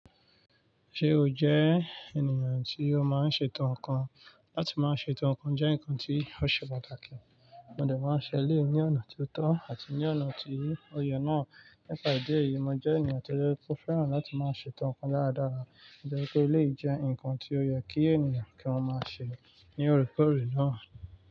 Ṣé o jẹ́ ènìyàn tí ó máa ń ṣe ẹ̀tọ́ ǹkan? Látí máa ṣe ẹ̀tọ́ ǹkan jẹ́ ǹkan tí ó ṣe pàtàkì, mo dà máa ń ṣẹ elẹ̀yi ní ọ̀nà tó tọ́ àti ní ọ̀nà tí ó yẹ náà. Nípa ìdí èyí, mo jẹ́ ènìyàn tó fẹ́ràn láti máa ṣe ẹ̀tọ́ ǹkan dáradára, nítorí pé ó lè jẹ́ ǹkan tí ó yẹ kí ènìyàn kí wọ́n máa ṣe ní òrèkóòrè náà.